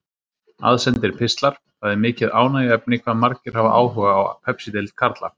Aðsendir pistlar Það er mikið ánægjuefni hvað margir hafa áhuga á Pepsideild karla.